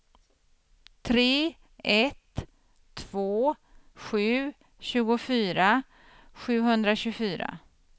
tre ett två sju tjugofyra sjuhundratjugofyra